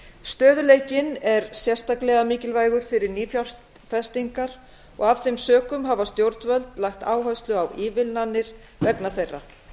stöðugleikinn er sérstaklega mikilvægur fyrir nýfjárfestingar og af þeim sökum hafa stjórnvöld lagt áherslu á ívilnanir vegna þeirra